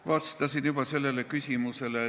Vastasin juba sellele küsimusele.